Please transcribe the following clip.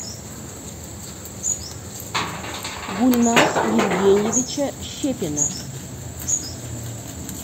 гульназ евгеньевича щепина